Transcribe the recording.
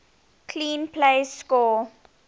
clean plays score